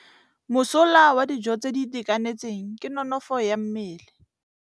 Mosola wa dijô tse di itekanetseng ke nonôfô ya mmele.